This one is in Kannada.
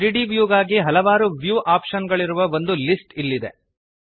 3ದ್ ವ್ಯೂ ಗಾಗಿ ಹಲವಾರು ವ್ಯೂ ಆಪ್ಶನ್ ಗಳಿರುವ ಒಂದು ಲಿಸ್ಟ್ ಇಲ್ಲಿ ಇದೆ